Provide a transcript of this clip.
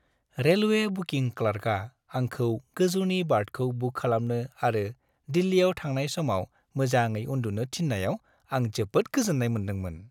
Railway booking क्लार्कआ आंखौ गोजौनि बार्थखौ बुक खालामनो आरो दिल्लीयाव थांनाय समाव मोजाङै उन्दुनो थिन्नायाव आं जोबोद गोजोन्नाय मोनदोंमोन।